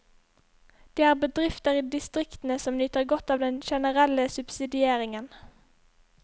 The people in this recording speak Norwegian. Det er bedrifter i distriktene som nyter godt av den generelle subsidieringen.